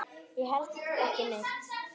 Ég held ekki neitt.